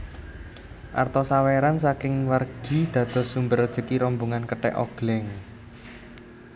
Arta sawéran saking wargi dados sumber rejeki rombongan kethèk ogléng